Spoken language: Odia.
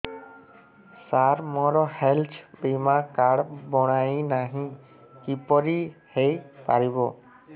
ସାର ମୋର ହେଲ୍ଥ ବୀମା କାର୍ଡ ବଣାଇନାହିଁ କିପରି ହୈ ପାରିବ